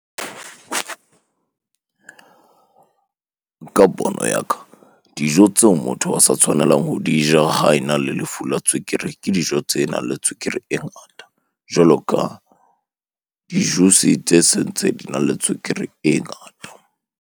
Ka pono ya ka, dijo tseo motho a sa tshwanelang ho di ja ha ena le lefu la tswekere, ke dijo tsenang le tswekere e ngata. Jwalo ka di-juice tse sentse dina le tswekere e ngata.